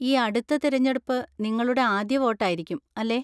ഈ അടുത്ത തിരഞ്ഞെടുപ്പ് നിങ്ങളുടെ ആദ്യ വോട്ടായിരിക്കും, അല്ലേ?